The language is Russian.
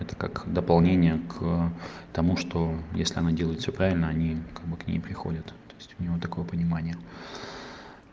это как дополнение к тому что если она делает всё правильно они как бы к ней приходят то есть у него такое понимание